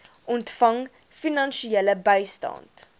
ontvang finansiële bystand